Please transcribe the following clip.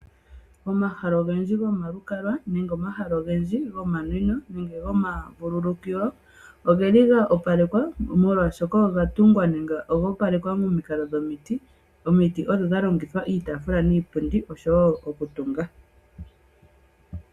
Omahala ogendji gomalukalwa nenge omahala ogendji gomanwino nenge omahala gomavululukilo ogeli ga opalekelwa, molwaashoka oga tungwa nenge ogoopalekwa momikalo dhomiti. Omiti ohadhi longithwa niitaafula oshowoo iipundi oshowoo okutunga.